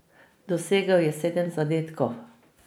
Dosegel je sedem zadetkov.